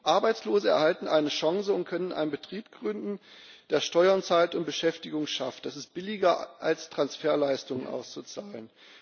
Arbeitslose erhalten eine Chance und können einen Betrieb gründen, der Steuern zahlt und Beschäftigung schafft. Das ist billiger als Transferleistungen auszuzahlen.